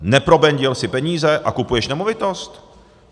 Neprobendil jsi peníze a kupuješ nemovitost?